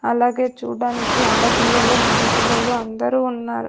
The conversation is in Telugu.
అలాగే చూడ్డానికి ఆడపిల్లలు మగ పిల్లలు అందరూ ఉన్నారు.